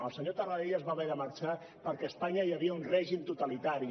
el senyor tarradellas va haver de marxar perquè a espanya hi havia un règim totalitari